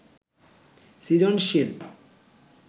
সৃজনশীল